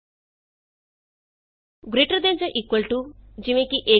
altb greater than ਜਾਂ equal to 160 easy